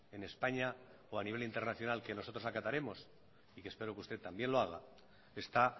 en españa o a nivel internacional que nosotros acataremos y que espero que usted también lo haga está